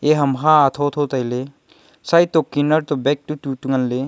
eya ham ha thotho tailey side to kinnar to bag tu tutu ngan ley.